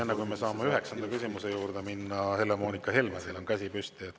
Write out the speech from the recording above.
Enne kui me saame üheksanda küsimuse juurde minna: Helle-Moonika Helme, teil on käsi püsti.